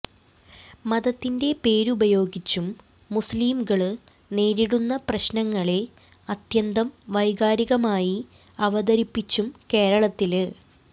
മതത്തിന്റെ പേരുപയോഗിച്ചും മുസ്ലിംകള് നേരിടുന്ന പ്രശ്നങ്ങളെ അത്യന്തം വൈകാരികമായി അവതരിപ്പിച്ചും കേരളത്തില്